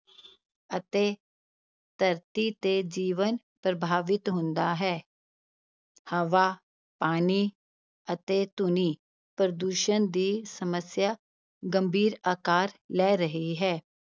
ਅਤੇ ਧਰਤੀ ਤੇ ਜੀਵਨ ਪ੍ਰਭਾਵਿਤ ਹੁੰਦਾ ਹੈ ਹਵਾ, ਪਾਣੀ ਅਤੇ ਧੁਨੀ ਪ੍ਰਦੂਸ਼ਣ ਦੀ ਸਮੱਸਿਆ ਗੰਭੀਰ ਅਕਾਰ ਲੈ ਰਹੀ ਹੈ।